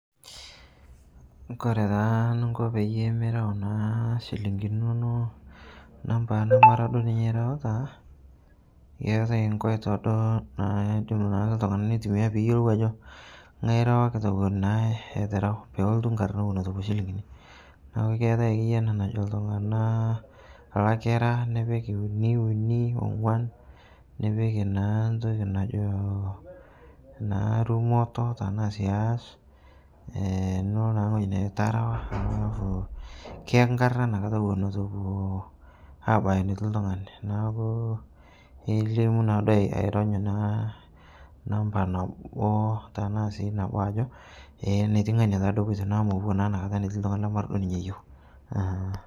Kore taa nuko peyie mirau naa shilinkini inono namba namara duo ninye irauta, ketae nkoito duo naaidim naa ltung'ana neitumiyaa peyuolou ajo ng'ae irawakita ewon naa etu rao pelotu nkarna ewon etu epo shilinkini naaku keatae ake ana najo ltung'ana, lakira nipik uni uni ong'wan nipik naa ntoki najo naa rumoto tanaa sii hash eh nulo naa ng'oji nejo terawa neaku kiyaki nkarna inia nkata ewon etu epo abaya netii ltung'ani. Naaku nelimu naaduo arony naa namba nabo tanaa sii nabo ajo ee neti ng'ania taaduo epotio naa mopuo naa inia kata netii ltung'ani lamara duo ninye iyeu eh.